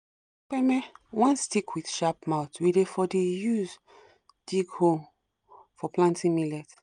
kpeme — one stick with sharp mouth we dey for the use dig hole for planting millet.